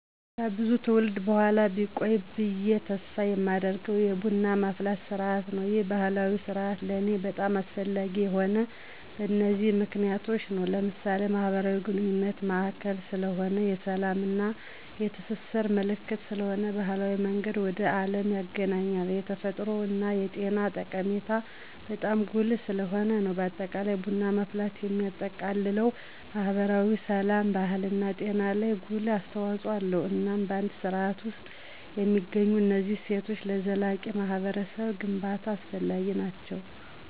ከብዙ ትውልድ በኋላ ቢቆይ ብየ ተስፍ የማደርገው የቡና ማፍላት ስርዓት ነው። ይህ ባህላዊ ስርአት ለኔ በጣም አስፈላጊ የሆነው በነዚህ ምክንያቶች ነው። ለምሳሌ፦ የማህበራዊ ግንኙነት ማዕከል ስለሆነ፣ የስላም እና የትስስር ምልክት ስለሆነ፣ የባህል መንገድ ወደ አለም ያግናኘናል፣ የተፈጥሮ እና የጤና ጠቀሜታው በጣም ጉልህ ስለሆነ ነው። በአጠቃላይ ቡና ማፍላት የሚያጠቃልለው ማህበራዊ፣ ስላም፣ ባህልና ጤና ላይ ጉልህ አስተዋጽኦ አለው። እናም በአንድ ስርዓት ውስጥ የሚገኙት እነዚህ እሴቶች ለዘላቂ ማህበረሰብ ግንባታ አስፈላጊ ናቸው።